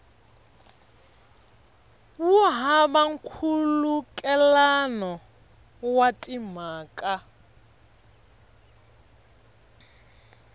wu hava nkhulukelano wa timhaka